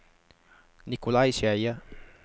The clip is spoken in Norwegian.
Nikolai Skeie